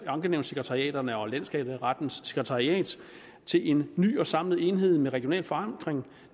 ankenævnssekretariaterne og landsskatterettens sekretariat til en ny og samlet enhed med regional forankring